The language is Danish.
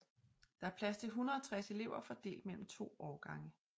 Der er plads til 160 elever fordelt mellem to årgange